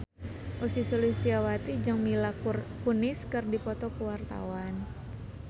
Ussy Sulistyawati jeung Mila Kunis keur dipoto ku wartawan